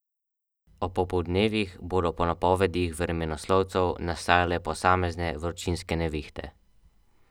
Ob popoldnevih bodo po napovedih vremenoslovcev nastajale posamezne vročinske nevihte.